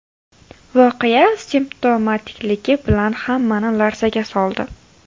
Voqea simptomatikligi bilan hammani larzaga soldi.